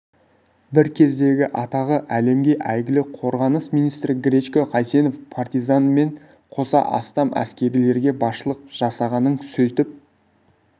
бір кездегі атағы әлемге әйгілі қорғаныс министрі гречко қайсенов партизанмен қоса астам әскерилерге басшылық жасағанын сөйтіп